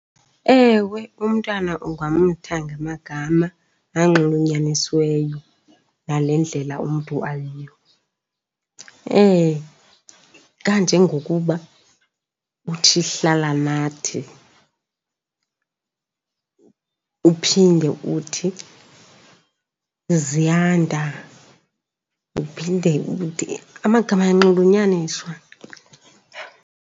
Ewe, umntwana ungamtha ngamagama anxulunyanisiweyo nale ndlela umntu ayiyo. Kanjengokuba uthi Hlalanathi, uphinde uthi Ziyanda, uphinde uthi, amagama ayanxulunyaniswa.